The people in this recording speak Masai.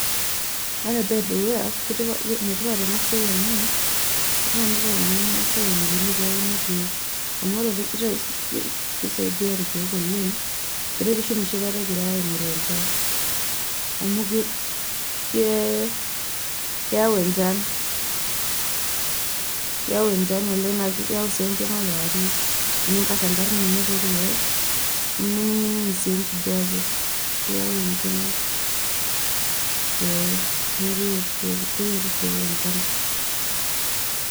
ene tipat ena siai amu kifaa pee iteng'eni irmaasai enikoni teneuni irkeek amu keretisho ,amu keyau enchan naa keyau sii engima kewarie tenikari enkang ino too irkeek .